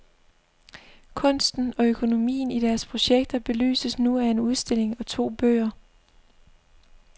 Kunsten og økonomien i deres projekter belyses nu af en udstilling og to bøger.